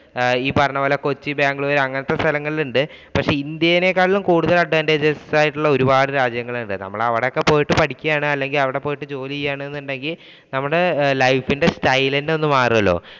ഈ പറഞ്ഞപോലെ കൊച്ചി ബാംഗ്ലൂര് അങ്ങനത്തെ സ്ഥലങ്ങളിൽ ഉണ്ട്. പക്ഷേ ഇന്ത്യനേക്കാൾ കൂടുതൽ advance ആയിട്ടുള്ള ഒരുപാട് രാജ്യങ്ങൾ ഉണ്ട്. അവിടെ പോയിട്ട് ജോലി ചെയ്യുകയാണെന്ന് ഉണ്ടെങ്കിൽ നമ്മുടെ life ഇന്‍റെ style തന്നെ ഒന്ന് മാറുമല്ലോ.